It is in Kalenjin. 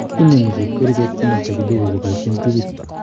Inemu chepkirichot komosto kidogo koboisien tubit